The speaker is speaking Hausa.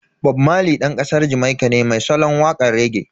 Bob Marley Dan kasar Jamaika ne mai salon wakan rege.